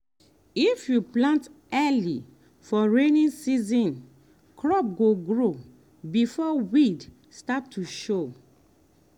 if you plant early for rainy season crop go grow before weed start to show.